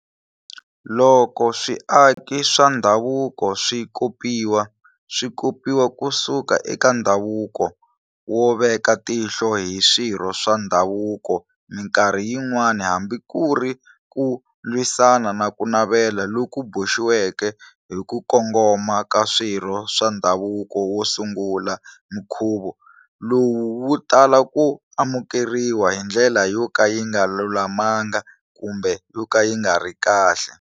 Loko swiaki swa ndhavuko swi kopiwa, swi kopiwa ku suka eka ndhavuko wo veka tihlo hi swirho swa ndhavuko-minkarhi yi nwana hambi kuri ku lwisana naku navela loku boxiweke hiku kongoma ka swirho swa ndhavuko wo sungula-mikhuva lowu wu tala ku amukeriwa hindlela yoka yinga lulamangi kumbe yoka yingari kahle.